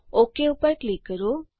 okay ઉપર click કરો